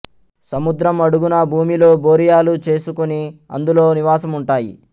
సముద్రం అడుగున భూమిలో బొరియలు చేసుకుని అందులో నివాసం ఉంటాయి